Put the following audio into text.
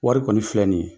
Wari kɔni filɛ nin ye